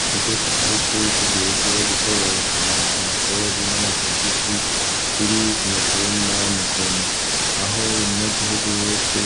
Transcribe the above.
Ikigo c'igihugu kijejwe gutororokanya amakori n'amatagisi kiri kumutumba Mukoni, aho umunyagihugu wese